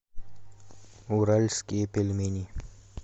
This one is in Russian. уральские пельмени